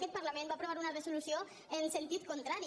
aquest parlament va aprovar una resolució en sentit contrari